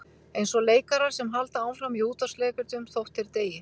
Eins og leikarar sem halda áfram í útvarpsleikritum þótt þeir deyi.